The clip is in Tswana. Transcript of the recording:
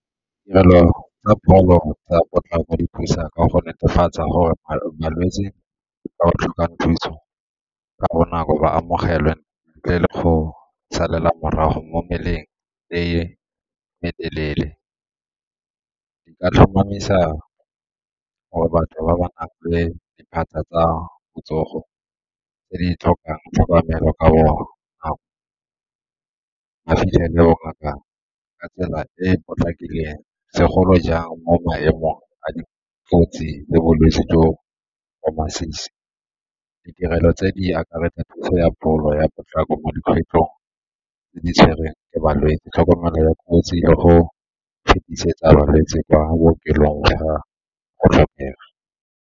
Tirelo tsa pholo tsa potlako di thusa ka go netefatsa gore balwetse ba ba tlhokang thuso ka bonako ba amogelwe ntle le go salela morago mo meleng e me teleele. Di ka tlhomamisa gore batho ba ba tsa botsogo tse di tlhokang tlhokomelo ka bonako ba o fitlhele bo ngaka ka tsela e e potlakileng segolo jang mo maemong a dikotsi le bolwetse jo bo masisi. Ditirelo tse di akaretsa thuso ya pholo ya potlako mo dikgwetlhong tse di tshwerweng ke balwetse, tlhokomelo ya kotsi le go fetisetsa balwetse kwa bookelong fa go tlhokega.